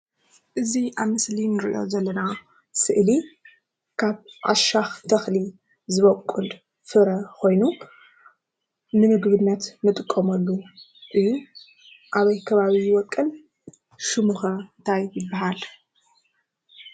እዚ ኣብ ምስሊ ንሪኦ ዘለና ስእሊ ካብ ዓሻኽ ተኽሊ ዝቦቁል ፍረ ኾይኑ ንምግብነት ንጥቀመሉ እዩ ።ኣበይ ከባቢ ይቦቁል ሽሙ'ኸ እንታይ ይበሃል